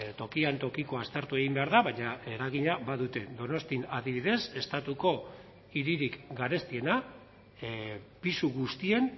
tokian tokiko aztertu egin behar da baina eragina badute donostian adibidez estatuko hiririk garestiena pisu guztien